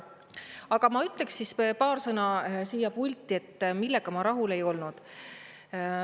Aga ma ütleksin paar sõna siin puldis, millega ma rahul ei olnud.